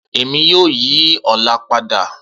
Emi yoo yi ọla pada